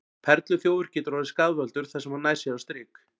Perluþjófur getur orðið skaðvaldur þar sem hann nær sér á strik.